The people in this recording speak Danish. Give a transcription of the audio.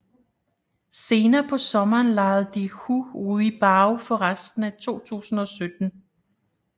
Senere på sommeren lejede de Hu Ruibao for resten af 2017